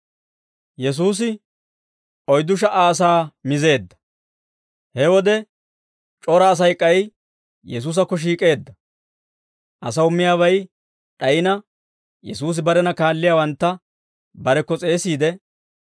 He wode, c'ora Asay k'ay Yesuusakko shiik'eedda; asaw miyaabay d'ayina, Yesuusi barena kaalliyaawantta barekko s'eesiide,